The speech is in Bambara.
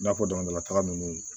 I n'a fɔ dama taga ninnu